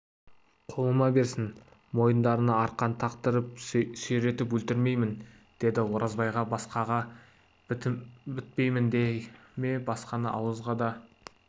қолыма берсін мойындарына арқан тақтырып сүйретіп өлтіремін дейді оразбай басқаға бітпеймін дей ме басқаны ауызға да